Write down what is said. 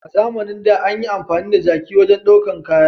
A zamanin da, an yi amfani da jaki wajen daukan kaya.